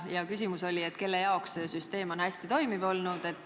Ja küsimus oli, kelle jaoks see süsteem on hästi toimiv olnud.